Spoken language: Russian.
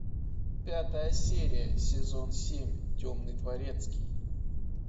пятая серия сезон семь темный дворецкий